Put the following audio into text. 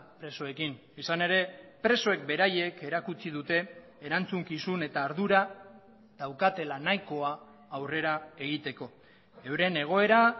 presoekin izan ere presoek beraiek erakutsi dute erantzukizun eta ardura daukatela nahikoa aurrera egiteko euren egoera